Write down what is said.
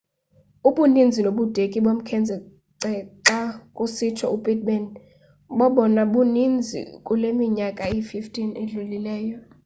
ubuninzi nobudeki bomkhence xa kusitsho u-pittman bobona buninzi kule minyaka iyi-15 idlulileyo